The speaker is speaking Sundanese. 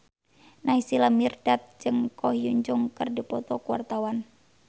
Naysila Mirdad jeung Ko Hyun Jung keur dipoto ku wartawan